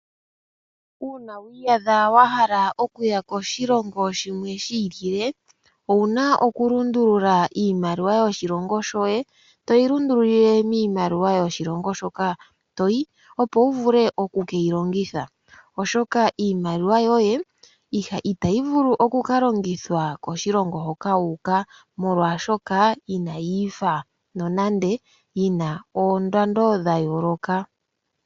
Uuna wiiyadha wahala okuya koshilongo shimwe shiilile, owuna okulundulula iimaliwa yoshilongo shoye, toyi lundululile miimaliwa yoshilongo shoka toyi, opo wuvule okukeyi longitha, oshoka iimaliwa yoye itayi vulu okukalongithwa koshilongo hoka wuuka molwaashoka inayiifa nonando dhina oondando dhayooloka.